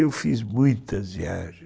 Eu fiz muitas viagens.